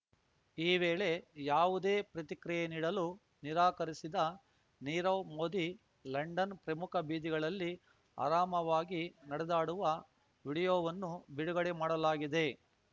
ಈ ವೇಳೆ ಯಾವುದೇ ಪ್ರತಿಕ್ರಿಯೆ ನೀಡಲು ನಿರಾಕರಿಸಿದ ನೀರವ್ ಮೋದಿ ಲಂಡನ್‌ ಪ್ರಮುಖ ಬೀದಿಗಳಲ್ಲಿ ಆರಾಮವಾಗಿ ನಡೆದಾಡುವ ವೀಡಿಯೊವನ್ನು ಬಿಡುಗಡೆ ಮಾಡಲಾಗಿದೆ